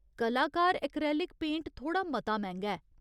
कलाकार acrylic paint थोह्ड़ा मता मैंह्गा ऐ।